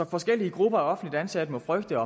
forskellige grupper af offentligt ansatte frygte